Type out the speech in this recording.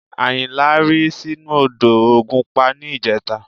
Àyìnlá rì sínú odò ògùnpa ní ìjẹta